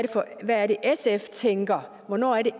sf tænker og hvornår